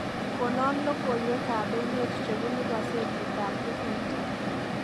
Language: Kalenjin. Konon logoywekab emet chebunu kasetitab hufinkton